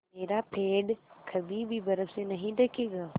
मेरा पेड़ कभी भी बर्फ़ से नहीं ढकेगा